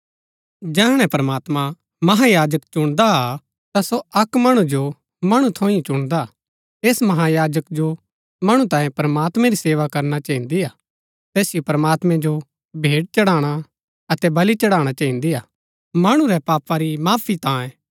जैहणै प्रमात्मां महायाजक चुणदा हा ता सो अक्क मणु जो मणु थऊँ ही चुणदा हा ऐस महायाजक जो मणु तांये प्रमात्मैं री सेवा करना चहिन्दी हा तैसिओ प्रमात्मैं जो भेंट चढ़ाणा अतै बलि चढ़ाणा चहिन्दी हा मणु रै पापा री माफी तांये